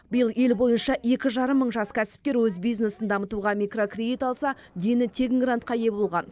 биыл ел бойынша екі жарым мың жас кәсіпкер өз бизнесін дамытуға микрокредит алса дені тегін грантқа ие болған